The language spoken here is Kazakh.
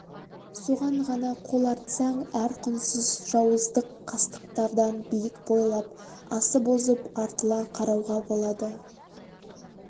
соған ғана қол артсаң әр құнсыз жауыздық қастықтардан биік бойлап асып озып артыла қарауға болады